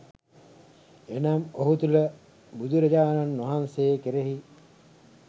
එනම්, ඔහු තුළ බුදුරජාණන් වහන්සේ කෙරෙහි